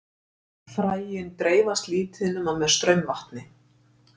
Fræin dreifast lítið nema með straumvatni.